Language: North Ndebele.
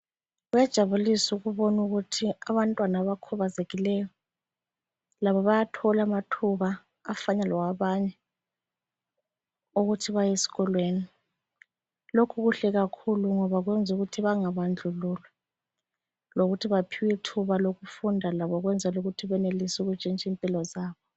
Kuyajabulisa ukubona ukuthi abantwana abakhubazekileyo labo bayathola amathuba afana lawabanye ukuthi bayeskolweni. Lokhu kuhle kakhulu ngoba kwenzukuthi bangabandlululwa lokuthi baphiwe ithuba lokufunda labo ukwenzela ukuthi benelise ukutshintsha impilo zabo.